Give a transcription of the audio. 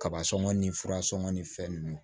Kaba sɔngɔn ni fura sɔngɔn ni fɛn ninnu